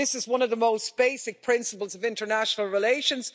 This is one of the most basic principles of international relations.